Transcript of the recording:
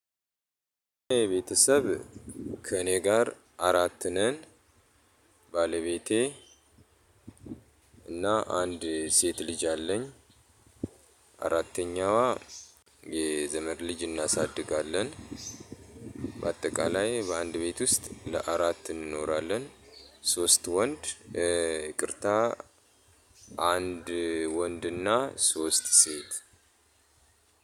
ቤተሰብ ከእኔ ጋር አራት ነን። ባለቤቴ እና አንድ ሴት ልጅ አለኝ። አራተኛዋ የ ዘመድ ልጅ አናሳድጋለን። በአጠቃላይ በአንድ ቤት ውስጥ ለአራት እንኖራለን። ሶስት ወንድ ይቅርታ አንድ ወንድና ሶስት ሴት።